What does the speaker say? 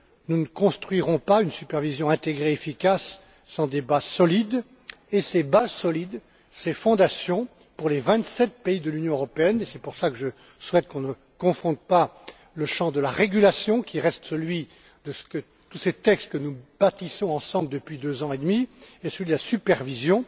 Nous ne construirons pas une supervision intégrée et efficace sans des bases solides, et ces bases solides, ces fondations pour les vingt sept pays de l'Union européenne et c'est pour cela que je souhaite qu'on ne confonde pas le champ de la régulation, qui reste celui de tous ces textes que nous bâtissons ensemble depuis deux ans et demi et celui de la supervision